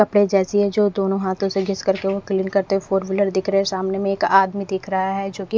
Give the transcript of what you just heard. कपड़े जैसी है जो दोनों हाथों से घिस कर के वो क्लीन करते हुए फोर व्हीलर दिख रहे हैं सामने में एक आदमी दिख रहा है जो कि--